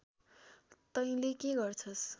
तैले के गर्छस्